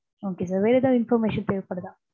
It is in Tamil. okay sir வேற ஏதாவது information தேவைப்படுதா?